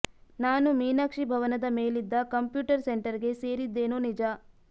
ನಾನು ಮೀನಾಕ್ಷಿ ಭವನದ ಮೇಲಿದ್ದ ಕಂಪ್ಯೂಟರ್ ಸೆಂಟರ್ ಗೆ ಸೇರಿದ್ದೇನೋ ನಿಜ